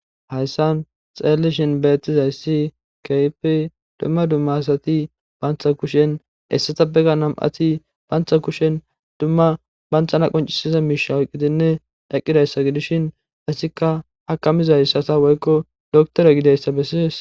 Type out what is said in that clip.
hayssan xeellishin bettizayssi kehpi duma duma asati bantha kushen hessata begga nam7ati baantha kushen duma banthana qoncisiza miisha oqidinne eqqidayssa gidishin asikka hakamizayssasa woykko doktore gideyssa bessies.